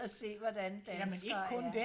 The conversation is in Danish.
og se hvordan danskere er